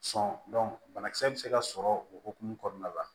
Sɔn banakisɛ bɛ se ka sɔrɔ o hukumu kɔnɔna la